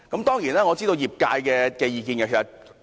當然，我亦知道業界的意見。